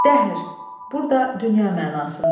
Dəhr, burda dünya mənasında.